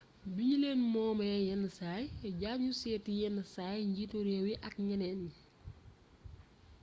bignulén moomé yén say diangnu sééti yénn say njiitu rééw yi ak gnénén gni